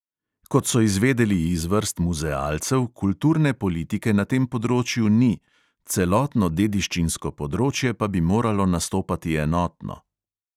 Kot so izvedeli iz vrst muzealcev, kulturne politike na tem področju ni, celotno dediščinsko področje pa bi moralo nastopati enotno.